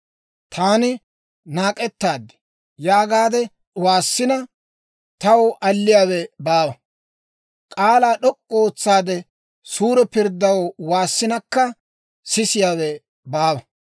«Taani, ‹Naak'ettaadi› yaagaade waassina, taw alliyaawe baawa; k'aalaa d'ok'k'u ootsaade, suure pirddaw waassinakka, sisiyaawe baawa.